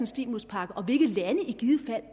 stimuluspakke og